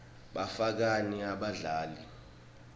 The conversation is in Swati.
bafakani abadlali